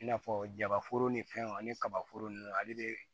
I n'a fɔ jabaforo ni fɛnw ani kaba foro nunnu ale de